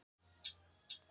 Margir skoða skepnuna